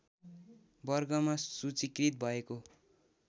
वर्गमा सूचीकृत भएको